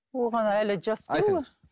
оған әлі жас қой олар